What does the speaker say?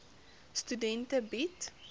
studente bied